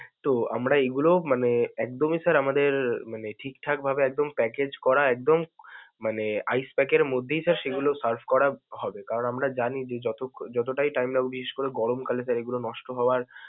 তো আমরা এগুলোও মানে একদমই sir আমাদের মানে ঠিকঠাক ভাবে একদম package করা, একদম ice pack এর মধ্যেই sir সেগুলো serve করা হবে কারণ আমরা জানি যে যত~ যতটাই time লাগুক, বিশেষ করে গরমকালে sir এগুলো নষ্ট হওয়ার.